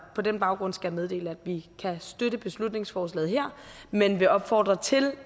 på den baggrund skal jeg meddele at vi kan støtte beslutningsforslaget her men vil opfordre til